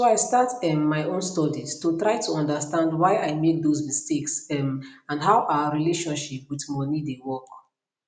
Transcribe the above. so i start um my own studies to try to understand why i make those mistakes um and how our relationship wit moni dey work